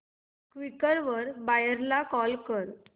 Quikr वर buyer ला call कर